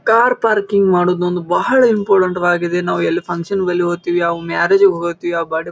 Car parking ಮಾಡುವುದು ಒಂದು ಬಹಳ ಇಂಪಾರ್ಟೆಂಟ್ ವಾಗಿದೆ. ನಾವು ಎಲ್ಲಿ ಫನ್ಕ್ಷನ್ಗೆ ಹೋಗ್ತಿವಿ ಮ್ಯಾರೇಜ್ ಗೆ ಹೋಗ್ತಿವಿ--